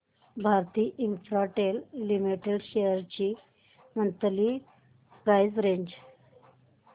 Bharti Infratel limited shares ची monthly price range